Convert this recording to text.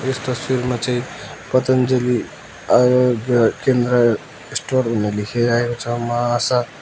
यस तस्वीरमा चाहिँ पतञ्जली आरोग्य केन्द्र स्टोर भनेर लेखेको छ मा आशा--